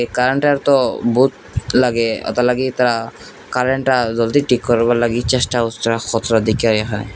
এই কারেন্টেরতো বহুত লাগে অতলাগি তা কারেন্টটা জলদি ঠিক করাবার লাগি চেষ্টা হচ্ছে ।